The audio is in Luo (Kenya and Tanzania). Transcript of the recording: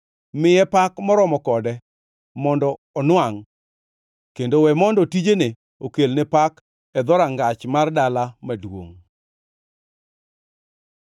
Miye pak moromo kode mondo onwangʼ kendo we mondo tijene okelne pak e dhorangach mar dala maduongʼ.